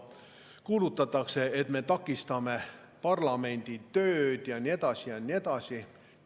Kuulutatakse, et me takistame parlamendi tööd, ja nii edasi ja nii edasi.